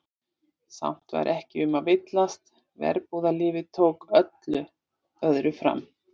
Samt var ekki um að villast, verbúðalífið tók öllu öðru fram.